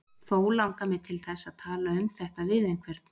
Þó langar mig til þess að tala um þetta við einhvern.